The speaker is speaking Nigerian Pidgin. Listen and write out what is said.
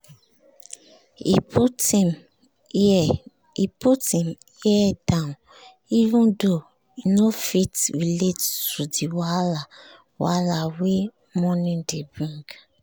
he put him ear down even tho he no fit relate to the wahala wahala wey money dey bring